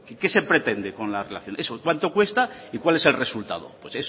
que se pretende con la relación eso cuánto cuesta y cuál es el resultado